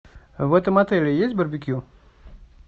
в этом отеле есть барбекю